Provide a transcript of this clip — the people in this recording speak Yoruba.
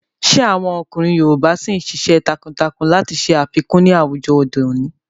Ṣé àwọn ọkùnrin yoòbá ṣìí n ṣiṣẹ́ takuntakun láti ṣe àfikún ní àwùjọ òde òní?